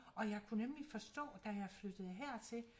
Og jeg kunne nemlig forstå da jeg flyttede hertil